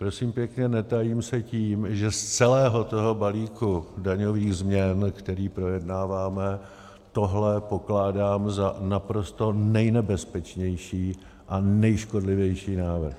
Prosím pěkně, netajím se tím, že z celého toho balíku daňových změn, který projednáváme, tohle pokládám za naprosto nejnebezpečnější a nejškodlivější návrh.